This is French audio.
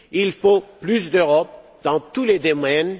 Il faut plus d'Europe. Dans tous les domaines.